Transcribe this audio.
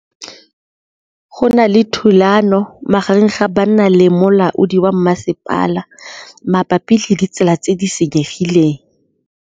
Go na le thulanô magareng ga banna le molaodi wa masepala mabapi le ditsela tse di senyegileng.